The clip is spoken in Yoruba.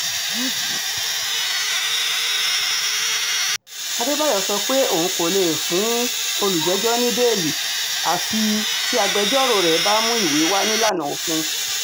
àdèbàyò sọ pé òun kò lè fún um olùjẹ́jọ́ ní bẹ́ẹ́lí àfi um tí agbẹjọ́rò rẹ̀ bá mú ìwé wá nílànà òfin